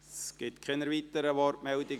Es gibt keine weiteren Wortmeldungen.